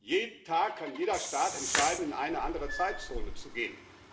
Jeden Tag kann jeder Staat entscheiden, in eine andere Zeitzone zu gehen.